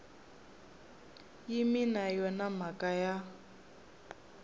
yimi na yona mhaka ya